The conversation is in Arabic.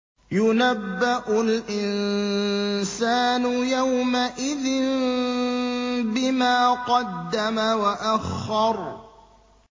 يُنَبَّأُ الْإِنسَانُ يَوْمَئِذٍ بِمَا قَدَّمَ وَأَخَّرَ